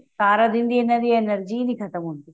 ਸਾਰਾ ਦਿਨ ਦੀ ਇਹਨਾ ਦੀ energy ਹੀ ਨਹੀਂ ਖਤਮ ਹੁੰਦੀ